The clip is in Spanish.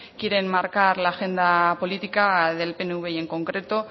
quiere enmarcar la agenda política del pnv y en concreto